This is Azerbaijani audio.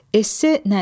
Esse nədir?